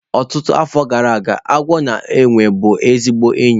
Ọtụtụ afọ gara aga, agwọ na enwe bụ ezigbo enyi